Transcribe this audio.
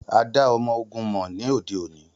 A da ọmọ-ogun mọ ni ode oni.